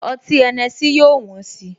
Ọtí Henessy yóò wón si